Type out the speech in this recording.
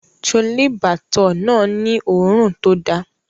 Chole Bhature náà ni òórùn tó da